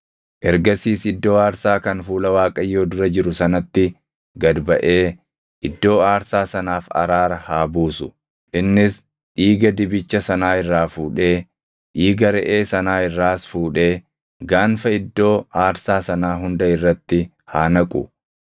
“Ergasiis iddoo aarsaa kan fuula Waaqayyoo dura jiru sanatti gad baʼee iddoo aarsaa sanaaf araara haa buusu. Innis dhiiga dibicha sanaa irraa fuudhee, dhiiga reʼee sanaa irraas fuudhee gaanfa iddoo aarsaa sanaa hunda irratti haa naqu.